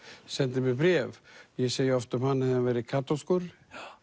sendi mér bréf ég segi oft um hann að hefði hann verið kaþólskur